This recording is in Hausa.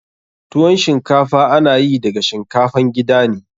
Tuwon shinkafa ana yi daga shinkafan gida ne.